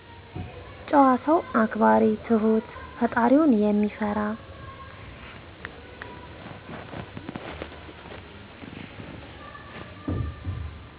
ጭዋ ሰው አክባሪ ትሁት ፈጣሪውን ሚፈራ